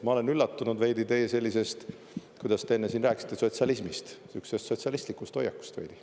Ma olen üllatunud veidi teie sellisest, kuidas te enne rääkisite, sotsialismist, sihukesest sotsialistlikust hoiakust veidi.